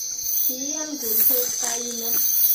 kiiyan kursetab kayumet